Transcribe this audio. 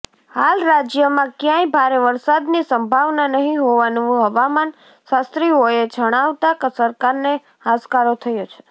હાલ રાજ્યમાં કયાંય ભારે વરસાદની સંભાવના નહીં હોવાનું હવામાન શાસ્ત્રીઓએ જણાવતા સરકારને હાશકારો થયો છે